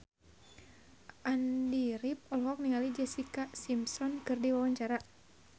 Andy rif olohok ningali Jessica Simpson keur diwawancara